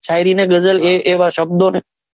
શાયરી ને ગઝલ એ એવા શબ્દોને,